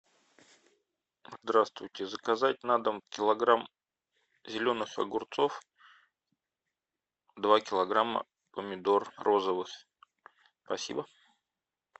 здравствуйте заказать на дом килограмм зеленых огурцов два килограмма помидор розовых спасибо